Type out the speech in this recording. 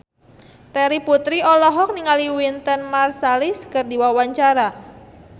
Terry Putri olohok ningali Wynton Marsalis keur diwawancara